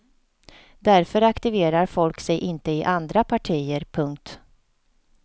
Därför aktiverar folk sig inte i andra partier. punkt